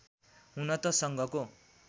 हुन त सङ्घको